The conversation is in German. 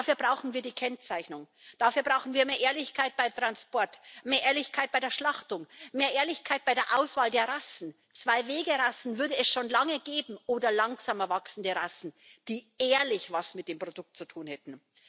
Dafür brauchen wir die Kennzeichnung, dafür brauchen wir mehr Ehrlichkeit beim Transport, mehr Ehrlichkeit bei der Schlachtung, mehr Ehrlichkeit bei der Auswahl der Rassen Zweiwegerassen würde es schon lange geben oder langsamer wachsende Rassen, die ehrlich was mit dem Produkt zu tun hätten.